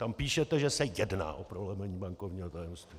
Tam píšete, že se jedná o prolomení bankovního tajemství!